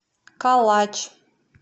калач